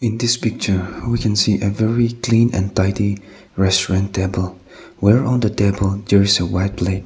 in this picture we can see a very clean and tidy restaurant table where on the table there is a white plate.